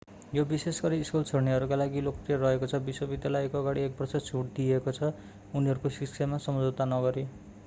यो विशेषगरी स्कूल छोड्नेहरूका लागि लोकप्रिय रहेको छ विश्वविद्यालयको अगाडि एक वर्ष छुट दिएको छ उनीहरूको शिक्षामा सम्झौता नगरी